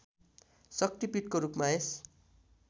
शक्ति पीठको रूपमा यस